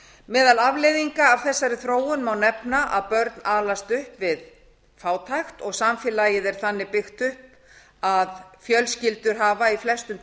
meðal afleiðinga af þessari þróun má nefna að börn alast upp við fátækt og samfélagið er þannig upp byggt að fjölskyldur hafa í flestum